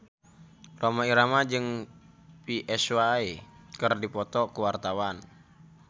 Rhoma Irama jeung Psy keur dipoto ku wartawan